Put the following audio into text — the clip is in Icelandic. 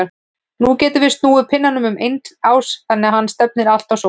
Nú getum við snúið pinnanum um eigin ás þannig að hann stefni alltaf á sólu.